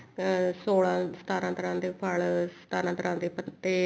ਤਾਂ ਸੋਲਾਂ ਸਤਾਰਾਂ ਤਰ੍ਹਾਂ ਦੇ ਫੱਲ ਤੇ ਸਤਾਰਾਂ ਤਰ੍ਹਾਂ ਦੇ ਪੱਤੇ